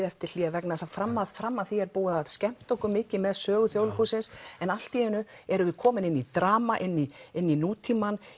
eftir hlé vegna þess að fram að fram að því er búið að skemmta okkur mikið með sögu Þjóðleikhússins en allt í einu erum við komin inn í drama inn í inn í nútímann